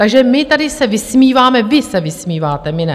Takže my tady se vysmíváme - vy se vysmíváte, my ne.